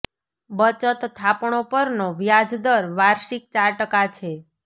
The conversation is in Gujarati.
બચત થાપણો પરનો વ્યાજ દર વાર્ષિક ચાર ટકા છે